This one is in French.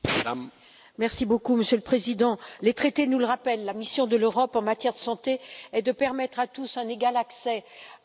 Monsieur le Président, les traités nous le rappellent la mission de l'Europe en matière de santé est de permettre à tous un égal accès à des soins de qualité.